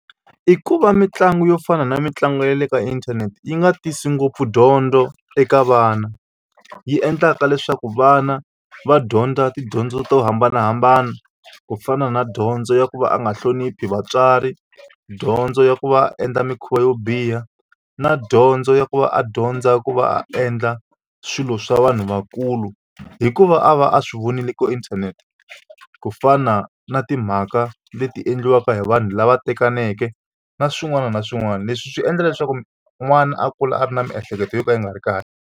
I ku va mitlangu yo fana na mitlangu ya le ka inthanete yi nga tisi ngopfu dyondzo eka vana yi endlaka leswaku vana va dyondza tidyondzo to hambanahambana ku fana na dyondzo ya ku va a nga hloniphi vatswari dyondzo ya ku va endla mikhuva yo biha na dyondzo ya ku va a dyondza ku va a endla swilo swa vanhu vakulu hikuva a va a swi vonile ku inthanete ku fana na timhaka leti endliwaka hi vanhu lava tekaneke na swin'wana na swin'wana leswi swi endla leswaku n'wana a kula a ri na miehleketo yo ka yi nga ri kahle.